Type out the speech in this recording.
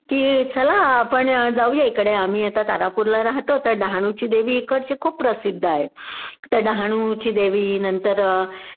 कि चला आपण जाऊया इकडे आम्ही आता तारापूरला राहतोच आहे, डहाणूची देवी एकडची खूप प्रसिद्ध आहे.त्या डहाणूची देवी नंतर